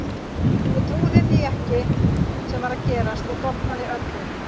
Ég trúði ekki því sem var að gerast og dofnaði öll upp.